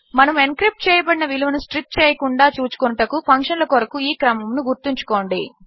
మనము ఎన్క్రిప్ట్ చేయబడిన విలువను స్ట్రిప్ చేయకుండా చూచుకొనుటకు ఫంక్షన్ల కొరకు ఈ క్రమమును గుర్తుంచుకోండి